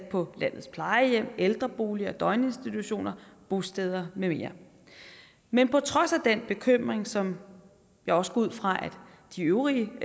på landets plejehjem ældreboliger døgninstitutioner bosteder med mere men på trods af den bekymring som jeg også går ud fra de øvrige